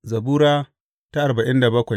Zabura Sura arba'in da bakwai